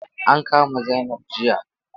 An kama Zainab jiya.